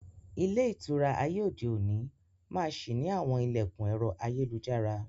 Ilé ìtura ayé òde òní máa sì ni àwọn ilẹkun ẹ̀rọ ayélujára.